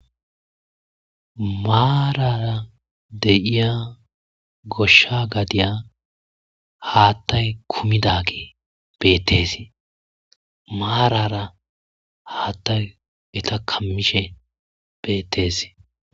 maarara deyiya goshsha gadiya haattay kumidage beettes maarara haattay eta kammishe beettes